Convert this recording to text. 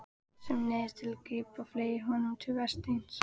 Sem neyðist til að grípa og fleygir honum til Vésteins.